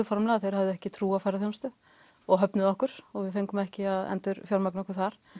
formlega að þeir hefðu ekki trú á ferðaþjónustu og höfnuðu okkur og við fengum ekki endurfjármögnun þar